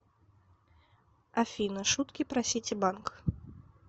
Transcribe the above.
афина шутки про ситибанк